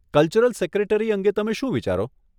Cultural secretary અંગે તમે શું વિચારો?